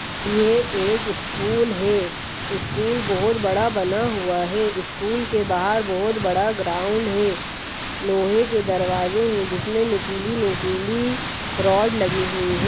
ये एक स्कूल है स्कूल बहुत बड़ा बना हुआ है स्कूल के बाहर बहोत बड़ा ग्राउंड है | लोहे के दरवाजे है जिसमें नुकीली नुकीली रॉड लगी हुई है।